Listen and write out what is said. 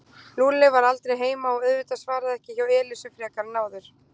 Lúlli var aldrei heima og auðvitað svaraði ekki hjá Elísu frekar en áður.